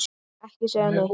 Ekki segja neitt!